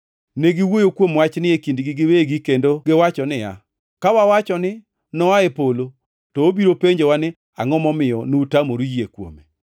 Negiwuoyo kuom wachni e kindgi giwegi kendo giwacho niya, “Ka wawacho ni, ‘Noa e polo,’ to obiro penjowa ni, ‘Angʼo momiyo nutamoru yie kuome?’